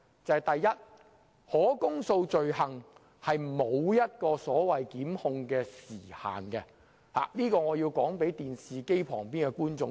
首先，可公訴罪行並無所謂檢控時限，這一點我要告訴電視機旁的觀眾。